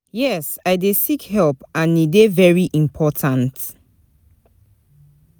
Yes, I dey seek help and e dey very important.